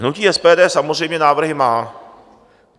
Hnutí SPD samozřejmě návrhy má.